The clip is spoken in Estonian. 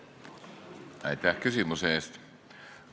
Aitäh küsimuse eest!